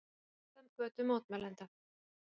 Greiða götu mótmælenda